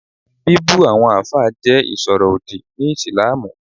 Bíbu àwọn àfáà jẹ́ ìsọ̀rọ̀ òdì ni ìslamù